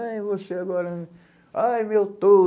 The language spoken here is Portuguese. Ai, você agora... Ai, meu